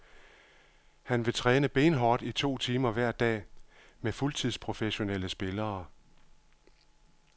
Han vil træne benhårdt i to timer hver dag med fuldtidsprofessionelle spillere.